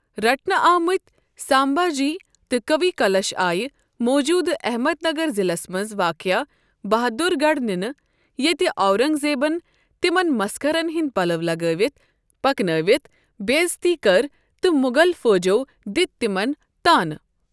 رٹنہٕ آمتۍ سامبھا جی تہٕ کوی کلش آیہ موجودٕ احمد نگر ضِلس منٛز واقع بہادُر گڈھ نِنہٕ، ییتہِ اورنگ زیبن تِمن مسخرن ہندۍ پلوٚ لگٲوِتھ پکنٲوِتھ بےٚ عزتی کٕر تہٕ مغل فوجِیو دِتۍ تِمن تانہٕ ۔